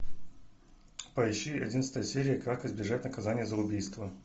поищи одиннадцатая серия как избежать наказания за убийство